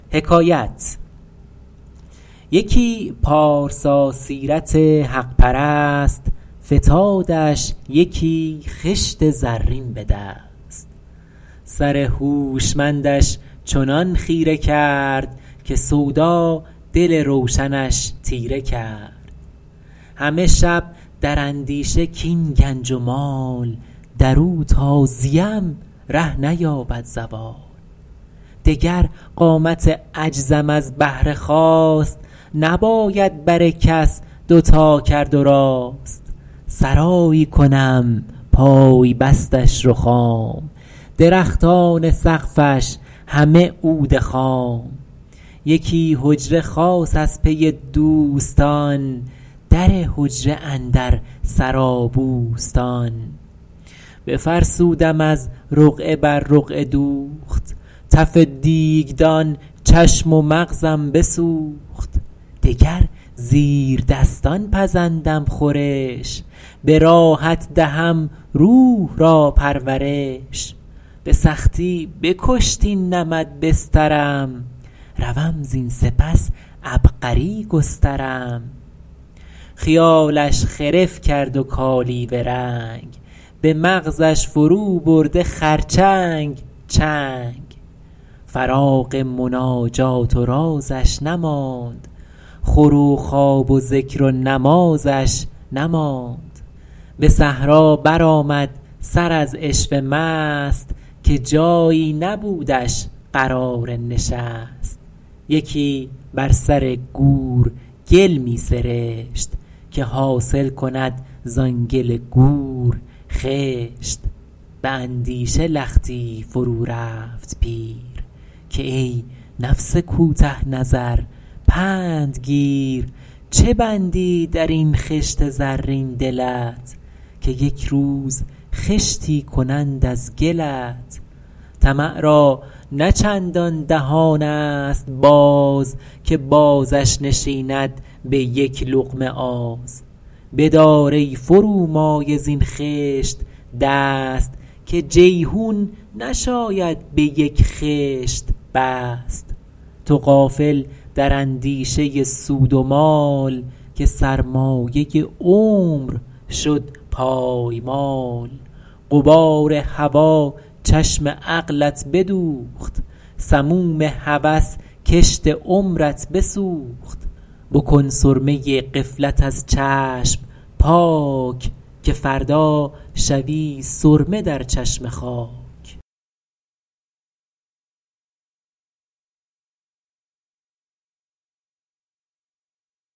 یکی پارسا سیرت حق پرست فتادش یکی خشت زرین به دست سر هوشمندش چنان خیره کرد که سودا دل روشنش تیره کرد همه شب در اندیشه کاین گنج و مال در او تا زیم ره نیابد زوال دگر قامت عجزم از بهر خواست نباید بر کس دوتا کرد و راست سرایی کنم پای بستش رخام درختان سقفش همه عود خام یکی حجره خاص از پی دوستان در حجره اندر سرا بوستان بفرسودم از رقعه بر رقعه دوخت تف دیگدان چشم و مغزم بسوخت دگر زیردستان پزندم خورش به راحت دهم روح را پرورش به سختی بکشت این نمد بسترم روم زین سپس عبقری گسترم خیالش خرف کرد و کالیوه رنگ به مغزش فرو برده خرچنگ چنگ فراغ مناجات و رازش نماند خور و خواب و ذکر و نمازش نماند به صحرا برآمد سر از عشوه مست که جایی نبودش قرار نشست یکی بر سر گور گل می سرشت که حاصل کند زآن گل گور خشت به اندیشه لختی فرو رفت پیر که ای نفس کوته نظر پند گیر چه بندی در این خشت زرین دلت که یک روز خشتی کنند از گلت طمع را نه چندان دهان است باز که بازش نشیند به یک لقمه آز بدار ای فرومایه زین خشت دست که جیحون نشاید به یک خشت بست تو غافل در اندیشه سود و مال که سرمایه عمر شد پایمال غبار هوا چشم عقلت بدوخت سموم هوس کشت عمرت بسوخت بکن سرمه غفلت از چشم پاک که فردا شوی سرمه در چشم خاک